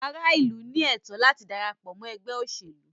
Ará ìlú ní ẹ̀tọ́ láti darapọ̀ mọ́ ẹgbẹ́ òṣèlú.